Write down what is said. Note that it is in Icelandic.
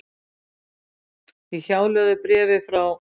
Í hjálögðu bréfi frá